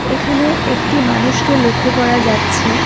এখানে একটি মানুষকে লক্ষ করা যাচ্ছে।